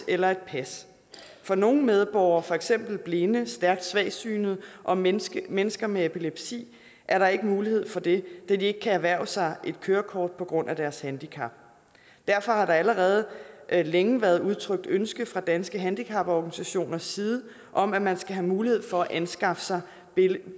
eller et pas for nogle medborgere for eksempel blinde stærkt svagsynede og mennesker mennesker med epilepsi er der ikke mulighed for det da de ikke kan erhverve sig et kørekort på grund af deres handicap derfor har der allerede længe været udtrykt ønske fra danske handicaporganisationers side om at man skal have mulighed for at anskaffe sig